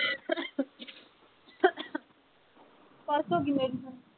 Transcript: ਪਰਸੋਂ ਗੀਨੇਗੀ ਹੁਣ